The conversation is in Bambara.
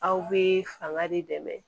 Aw bɛ fanga de dɛmɛ